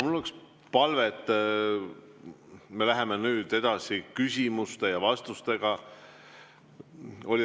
Mul on üks palve, et me läheme nüüd edasi küsimuste ja vastustega.